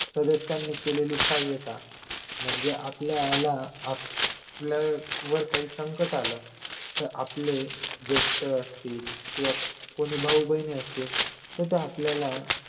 सदस्यांनी केलेली साह्यता म्हणजे आपल्याला आपल्यावर काही संकट आलं तर आपले जेष्ठ असतील किंवा कोणी भाऊ बहिणी असतील तर ते आपल्याला